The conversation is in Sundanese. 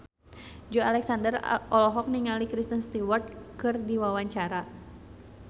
Joey Alexander olohok ningali Kristen Stewart keur diwawancara